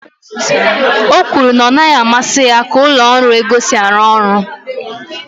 o kwuru na ọ naghị amasị ya ka ụlọ ọrụ ego si arụ ọrụ